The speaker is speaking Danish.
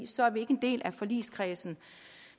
så er vi ikke en del af forligskredsen